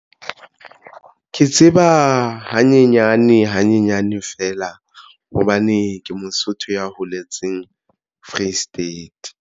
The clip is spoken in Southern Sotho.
Ke tseba hanyenyane hanyenyane feela hobane ke Mosotho ya holetseng Free State.